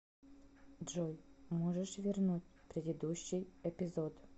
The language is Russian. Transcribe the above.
джой можешь вернуть предыдущий эпизод